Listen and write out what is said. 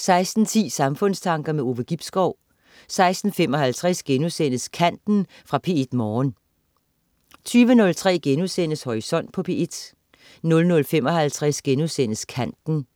16.10 Samfundstanker. Ove Gibskov 16.55 Kanten.* Fra P1 Morgen 20.03 Horisont på P1* 00.55 Kanten*